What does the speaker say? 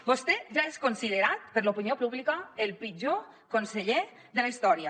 vostè ja és considerat per l’opinió pública el pitjor conseller de la història